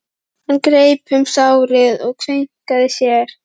Hann greip um sárið og kveinkaði sér.